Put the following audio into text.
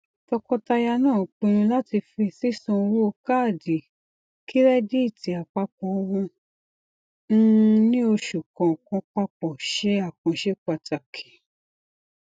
tọkọtaya náà pinnu láti fi sísán owó kaadi kírẹdítì apapọ wọn um ní oṣù kọọkan papọ ṣe àkànṣe pàtàkì